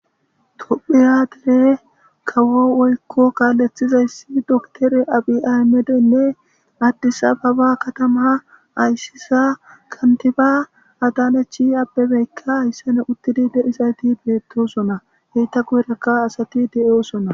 Tophphiya dere kawo woykko kaalethizayssi doktere Abiy Ahimedeyne Addis Ababa katama ayssiza kantiba Adanech Abebeykka hessadan uttidi de'izayti bettoosona enta guyerakka asati de'osona.